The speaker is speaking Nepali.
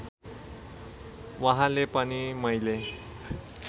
वहाँले पनि मैले